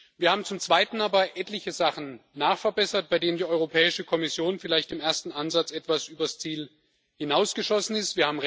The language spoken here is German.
Wir haben zum zweiten aber etliche Sachen nachgebessert, bei denen die Europäische Kommission vielleicht im ersten Ansatz etwas über das Ziel hinausgeschossen ist.